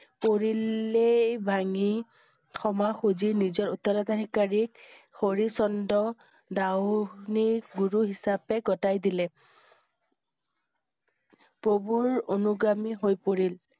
পৰি~লে ভাঙি ক্ষমা খুজি নিজৰ উত্তৰাধিকাৰীক হৰিষ চন্দা দা~হুনি গুৰু হিচাপে গোটেই দিলে। প্ৰভুৰ অনুগামী হৈ পৰিল।